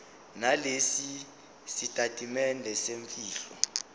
nalesi sitatimende semfihlo